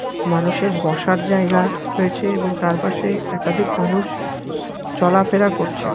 মানুষের বসার জায়গা রয়েছে এবং তার পাশে একাধিক মানুষ চলা ফেরা করছে।